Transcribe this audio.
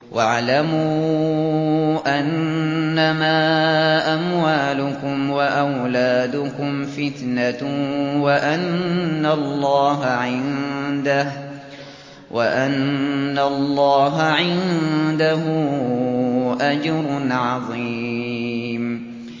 وَاعْلَمُوا أَنَّمَا أَمْوَالُكُمْ وَأَوْلَادُكُمْ فِتْنَةٌ وَأَنَّ اللَّهَ عِندَهُ أَجْرٌ عَظِيمٌ